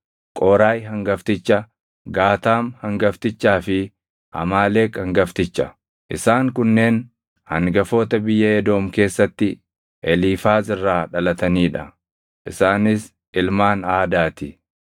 Qooraahi hangafticha, Gaataam hangaftichaa fi Amaaleq hangafticha. Isaan kunneen hangafoota biyya Edoom keessatti Eliifaaz irraa dhalatanii dha; isaanis ilmaan Aadaa ti.